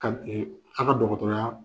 A' ka dɔgɔtɔrɔya